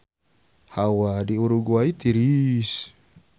Hawa di Uruguay tiris